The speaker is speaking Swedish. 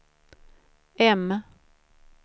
M